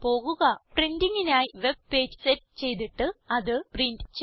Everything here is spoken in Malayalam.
printingനായി വെബ് പേജ് സെറ്റ് ചെയ്തിട്ട് അത് പ്രിന്റ് ചെയ്യുക